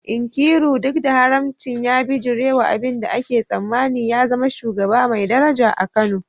Nkiruka, duk da haramcin, ya bijirewa abin da ake tsammani, ya zama shugaba mai daraja a Kano.